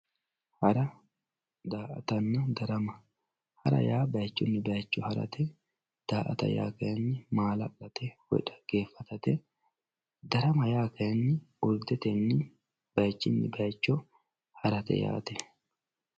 Hara daa`atanna darama hara yaa bayichini bayicho harate daa`ata yaa kayini maala`late woyi dhageefatate darama yaa kayini golteteni bayichini bayicho harate yaate.